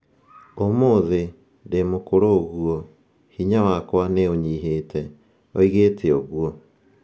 "Ũmũthĩ, ndĩ mũkũrũ ũguo, hinya wakwa nĩ ũnyihĩte", oigĩte ũguo.